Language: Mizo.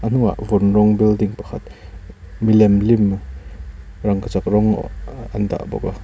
a hnungah vun rawng building pakhat milem lim rangkachak rawng an dah bawk a.